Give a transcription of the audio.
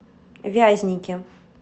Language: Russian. вязники